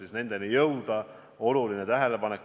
See on oluline tähelepanek.